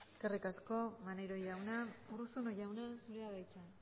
eskerrik asko maneiro jauna urruzuno jauna zurea da hitza